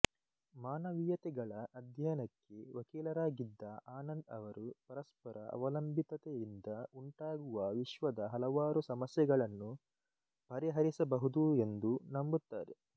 ಮಾನವೀಯತೆಗಳ ಅಧ್ಯಯನಕ್ಕೆ ವಕೀಲರಾಗಿದ್ದ ಆನಂದ್ ಅವರು ಪರಸ್ಪರ ಅವಲಂಬಿತತೆಯಿಂದ ಉಂಟಾಗುವ ವಿಶ್ವದ ಹಲವಾರು ಸಮಸ್ಯೆಗಳನ್ನು ಪರಿಹರಿಸಬಹುದು ಎಂದು ನಂಬುತ್ತಾರೆ